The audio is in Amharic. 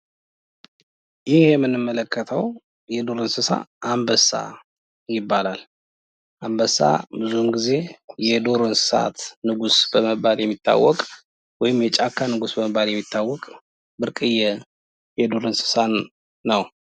የዶሮ እርባታ ለምግብነት የሚውሉ የቤት እንስሳት ሲሆኑ፣ ቀበሮዎች ደግሞ በዱር ውስጥ ብልሆችና አዳኞች በመሆን ይታወቃሉ።